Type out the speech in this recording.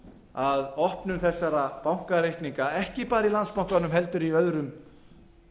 að opnun þessara bankareikninga ekki bara í landsbankanum heldur í öðrum